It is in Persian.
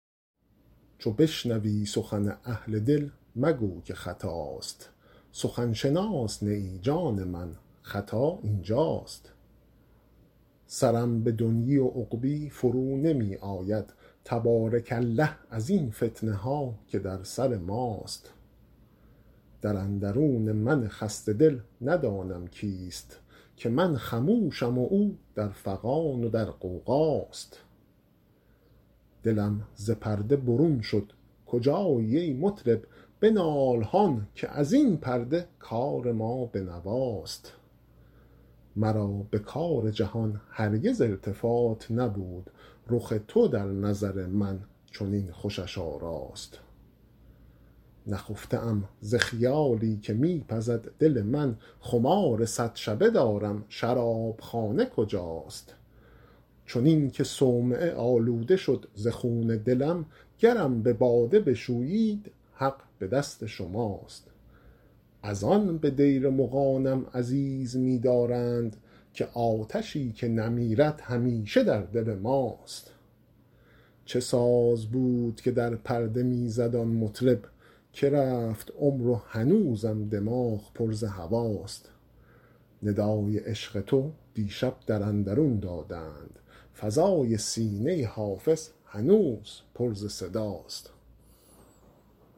چو بشنوی سخن اهل دل مگو که خطاست سخن شناس نه ای جان من خطا این جاست سرم به دنیی و عقبی فرو نمی آید تبارک الله ازین فتنه ها که در سر ماست در اندرون من خسته دل ندانم کیست که من خموشم و او در فغان و در غوغاست دلم ز پرده برون شد کجایی ای مطرب بنال هان که از این پرده کار ما به نواست مرا به کار جهان هرگز التفات نبود رخ تو در نظر من چنین خوشش آراست نخفته ام ز خیالی که می پزد دل من خمار صد شبه دارم شراب خانه کجاست چنین که صومعه آلوده شد ز خون دلم گرم به باده بشویید حق به دست شماست از آن به دیر مغانم عزیز می دارند که آتشی که نمیرد همیشه در دل ماست چه ساز بود که در پرده می زد آن مطرب که رفت عمر و هنوزم دماغ پر ز هواست ندای عشق تو دیشب در اندرون دادند فضای سینه حافظ هنوز پر ز صداست